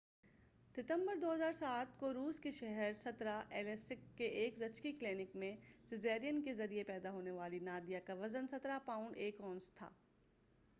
17 ستمبر 2007 کو روس کے شہر ایلیسک کے ایک زچگی کلینک میں سیزرین کے ذریعہ پیدا ہونے والی نادیہ کا وزن 17 پاؤنڈ 1 اونس تھا